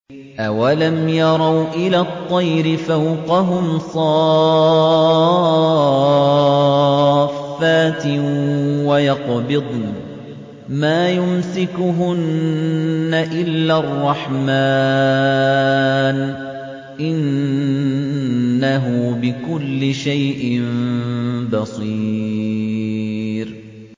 أَوَلَمْ يَرَوْا إِلَى الطَّيْرِ فَوْقَهُمْ صَافَّاتٍ وَيَقْبِضْنَ ۚ مَا يُمْسِكُهُنَّ إِلَّا الرَّحْمَٰنُ ۚ إِنَّهُ بِكُلِّ شَيْءٍ بَصِيرٌ